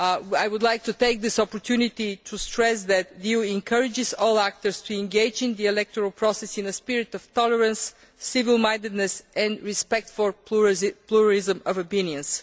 I would like to take this opportunity to stress that the EU encourages all actors to engage in the electoral process in a spirit of tolerance, civil mindedness and respect for pluralism of opinions.